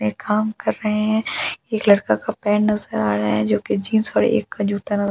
एक काम कर रहे है एक लड़का का पेंट यूज करा रहे है जो कि जींस और जूते में--